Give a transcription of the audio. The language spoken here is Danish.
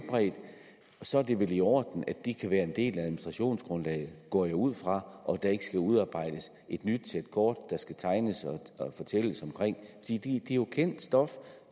så er det vel i orden at de kan være en del af administrationsgrundlaget går jeg ud fra og at der ikke skal udarbejdes et nyt sæt kort der skal tegnes og fortælles det er jo kendt stof